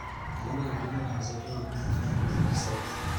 Elimu ya kilimo inawasaidia wakulima kufanya maamuzi sahihi.